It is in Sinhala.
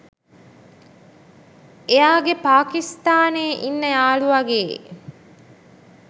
එයාගේ පාකිස්තානේ ඉන්න යාළුවගේ